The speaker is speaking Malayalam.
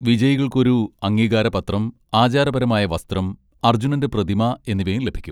വിജയികൾക്ക് ഒരു അംഗീകാരപത്രം, ആചാരപരമായ വസ്ത്രം, അർജുനന്റെ പ്രതിമ എന്നിവയും ലഭിക്കും.